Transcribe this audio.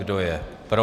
Kdo je pro?